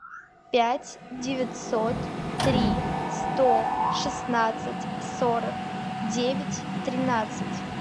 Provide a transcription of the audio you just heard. пять девятьсот три сто шестнадцать сорок девять тринадцать